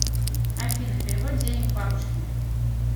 афина перевод денег бабушке